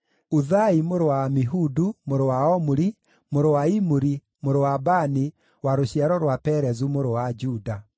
Uthai mũrũ wa Amihudu, mũrũ wa Omuri, mũrũ wa Imuri, mũrũ wa Bani wa rũciaro rwa Perezu mũrũ wa Juda.